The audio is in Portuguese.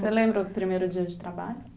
Você lembra o primeiro dia de trabalho?